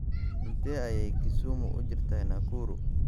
Intee ayay Kisumu u jirtaa Nakuru?